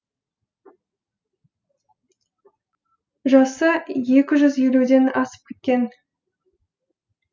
жасы екі жүз елуден асып кеткен